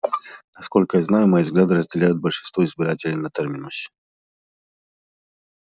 насколько я знаю мои взгляды разделяют большинство избирателей на терминусе